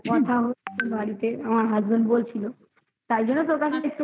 বাড়িতে আমার husband বলছিল তাই জন্য তোকে